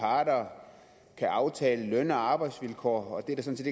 parter kan aftale løn og arbejdsvilkår og at der sådan